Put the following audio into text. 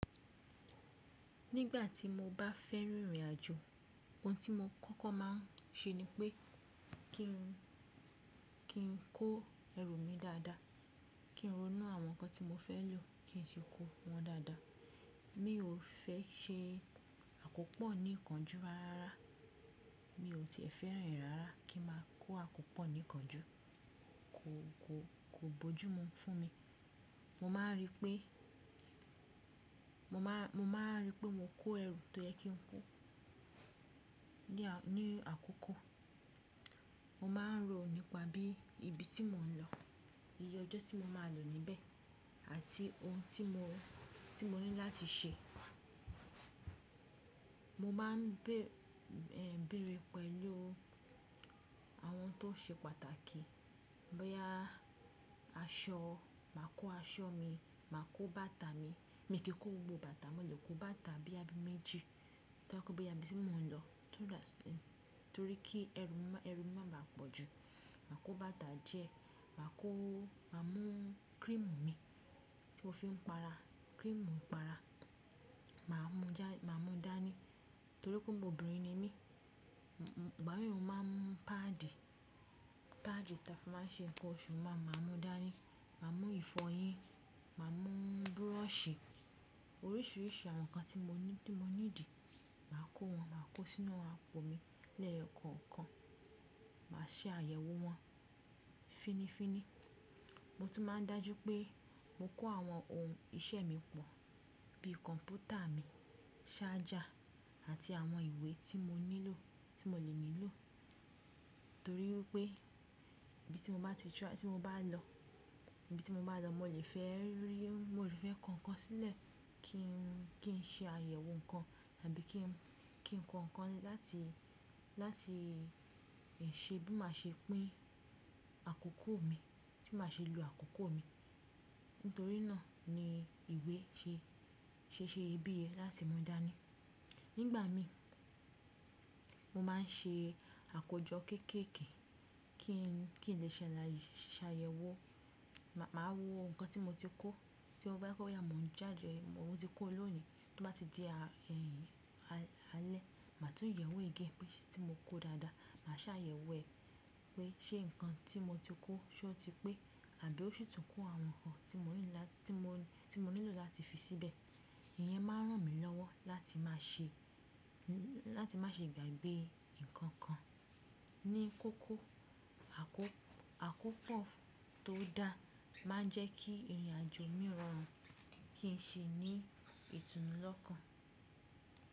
Nígbà tí mo bá fẹ́ rin ìrìnàjò, ohun tí mo kọ́kọ́ má a ṣe ni pé kí n kó ẹrù mi dáadáa, kí n ronú àwọn nǹkan tí mo fẹ́ lò kí n sì kó wọn dáadáa. Mi ò fẹ́ ṣe àkópọ̀ ní ìkánjú rárá, mi ò tie fẹ́ ran rárá kí n máa kó àkópọ̀ ní ìkánjú, kò, kò, kò bójú mu fún mi. Mo má a rí pé, mo má a rí pé mo kó ẹrù tó yẹ kí n kó ní àkókò. Mo má a ń rò nípa bí ibi tí mò ń lọ, iye ọjọ́ tí mo máa lò níbẹ̀ àti ohun tí mo, tí mo ní láti ṣe. Mo má a ń bèrè pẹ̀lú àwọn tó ṣe pàtàkì, bóyá aṣọ, màá kó aṣọ mi, màá kó bàtà mi. Mi kì í kó gbogbo bàtà mọ́lẹ̀, kó bàtà bóya bi méjì, tobaje pe ibi tí mò ń lọ tún dá sí, torí kí ẹrù máa ba pọ̀ jù. Màá kó bàtà díẹ̀, màá kó, màá mú cream mi tí ó fi ń pa ara, cream ìpara. Màá mú dání torí pé ómó obìnrin ni mí. Ìgbà mìíràn, màá mú paadi, paadi táa fi máa ń ṣe nǹkan oṣù máa, màá mú dání, màá mú ìfọyín, màá mú búrọ̀sì, oríṣiríṣi àwọn nǹkan tí mo ní, tí mo ní dì, màá kó wọn, màá kó sínú àpò mi lẹ́ẹ̀kọ̀ọ̀kan. Màá ṣe àyẹ̀wò wọn fínifíni. Mo tún máa ń dájú pé mo kó àwọn ohun iṣẹ́ mi pọ̀ bí kọ̀m̀pútà mi, ṣájà àti àwọn ìwé tí mo nílò, tí mo lè nílò. Torí wipé ibi tí mo bá ti, tí mo bá lọ, ibi tí mo bá lọ, mo lè fẹ́ rí, mo lè fẹ́ kọ̀nkọ̀n sílẹ̀ kí n ṣe àyẹ̀wò nǹkan àbí kí n kọ̀kan láti ṣe bí màá ṣe pín àkókò mi, bí màá ṣe lo àkókò mi. Nítorí náà ni ìwé ṣe, ṣe iye bí iye láti mú dání. Nígbà mi, mo má a ń ṣe àkójọ kéékèèké kí n lè ṣàlàyé, ṣàyẹ̀wò. Màá wo nǹkan tí mo ti kó, tí ó bá kó ya, mò ń jáde, mo ti kó lónìí, tí ó bá ti di alẹ́, màá tún yẹ̀wò gẹ́gẹ́ pé tí mo kó dáadáa. Màá ṣàyẹ̀wò ẹ pé ṣé nǹkan tí mo ti kó ṣé ó ti pé àbí ó ṣí tún kún àwọn nǹkan tí mo ní láti, tí mo nílò láti fi síbẹ̀. Ìyẹn máa ń ràn mí lọ́wọ́ láti má ṣe, láti má ṣe gbàgbé nǹkan kan ní kókó. Àkópọ̀ tó dá máa ń jẹ́ kí ìrìnàjò mí rọrùn, kí n ṣe ní ìtùnú lọ́kàn.